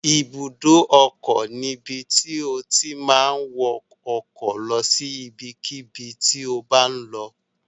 Ibùdó ọkọ̀ ni ibi tí o ti ma wọ ọkọ̀ lọ sí ibikíbi tí o bá ń lọ